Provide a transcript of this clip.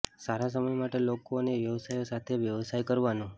સારા સમય માટે લોકો અને વ્યવસાયો સાથે વ્યવસાય કરવાનું